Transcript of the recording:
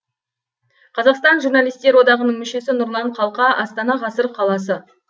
қазақстан журналистер одағының мүшесі нұрлан қалқа астана ғасыр қаласы